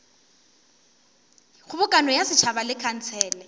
kgobokano ya setšhaba le khansele